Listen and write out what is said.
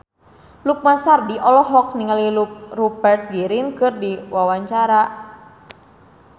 Lukman Sardi olohok ningali Rupert Grin keur diwawancara